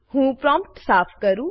હું પ્રોમ્પ્ટ સાફ કરું